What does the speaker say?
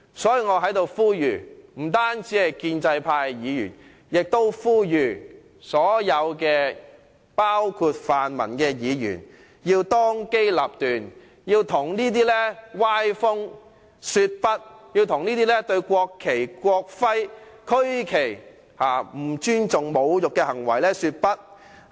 因此，我在此不單向建制派的議員呼籲，亦向所有議員——包括泛民議員——呼籲，他們要當機立斷，向這種歪風說不，向這些不尊重和侮辱國旗、國徽和區旗的行為說不。